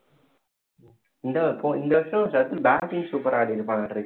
இந்த~இந்த வருஷம் சர்துல் batting கும் super ஆ ஆடியிருப்பான்